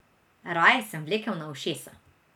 Raje sem vlekel na ušesa.